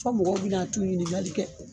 Fɔ mɔgɔ bɛ na t'u ɲinikali kɛ.